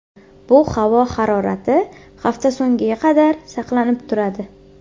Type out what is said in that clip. Bu havo harorati hafta so‘ngiga qadar saqlanib turadi.